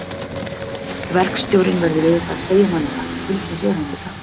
Verkstjórinn verður auðvitað að segja manni það. til þess er hann líka.